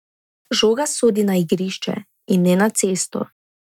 Žoga sodi na igrišče in ne na cesto.